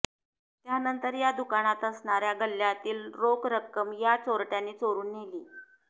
त्यानंतर या दुकानात असणाऱ्या गल्ल्यातील रोख रक्कम या चोरट्यांनी चोरून नेली